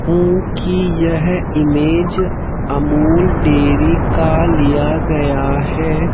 हूं कि यह इमेज अमूल डेयरी का लिया गया है।